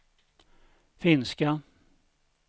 finska